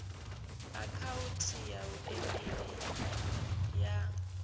akhauthu ya e meili ya